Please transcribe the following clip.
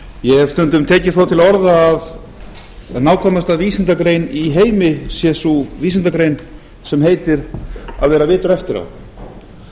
ég hef stundum tekið svo til orða að nákvæmasta vísindagrein í heimi sé sú vísindagrein sem heitir að vera vitur eftir á